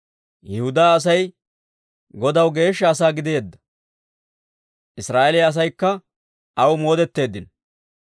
Yihudaa Asay Godaw geeshsha asaa gideedda; Israa'eeliyaa asaykka aw moodeteeddino.